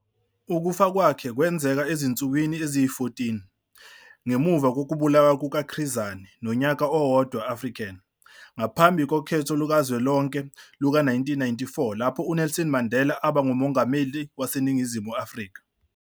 Ukufa kwakhe kwenzeka ezinsukwini eziyi-14. Ngemuva kokubulawa kukaChris Hani nonyaka owodwaAfrican ngaphambi kokhetho lukazwelonke luka-1994 lapho uNelson Mandela aba nguMongameli waseNingizimu Afrika.